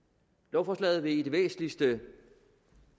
lovforslaget vil i det væsentligste